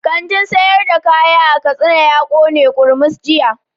Kantin sayar da kayan katsina ya kone kurmus jiya